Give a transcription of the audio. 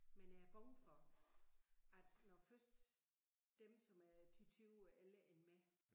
Men jeg er bange for at når først dem som er 10 20 år ældre end mig